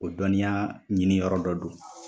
O dɔnniya ɲiniyɔrɔ dɔ don .